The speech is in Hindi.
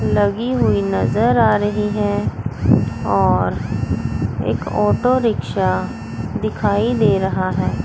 लगी हुई नज़र आ रही है और एक ऑटो रिक्शा दिखाई दे रहा है।